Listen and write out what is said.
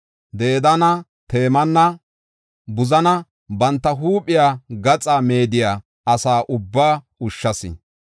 Dedaana, Temaana, Buzanne banta huuphiya gaxa meediya asa ubbaa ushshas.